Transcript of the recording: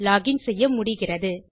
login செய்ய முடிகிறது